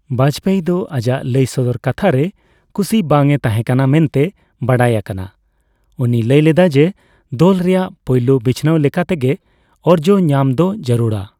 ᱵᱟᱡᱯᱮᱭᱤ ᱫᱚ ᱟᱡᱟᱜ ᱞᱟᱹᱭ ᱥᱚᱫᱚᱨ ᱠᱟᱛᱷᱟ ᱨᱮ ᱠᱩᱥᱤ ᱵᱟᱝ ᱮ ᱛᱟᱦᱮ ᱠᱟᱱᱟ ᱢᱮᱱᱛᱮ ᱵᱟᱰᱟᱭ ᱟᱠᱟᱱᱟ, ᱩᱱᱤᱭ ᱢᱮᱱᱞᱮᱫᱟ ᱡᱮ, ᱫᱚᱞ ᱨᱮᱱᱟᱜ ᱯᱳᱹᱭᱞᱳᱹ ᱵᱤᱪᱷᱱᱟᱹᱣ ᱞᱮᱠᱟᱛᱮ ᱜᱮ ᱚᱨᱡᱚ ᱧᱟᱢ ᱫᱚ ᱡᱟᱲᱩᱨᱟ ᱾